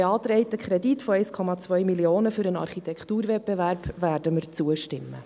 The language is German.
Dem beantragten Kredit von 1,2 Mio. Franken für den Architekturwettbewerb werden wir zustimmen.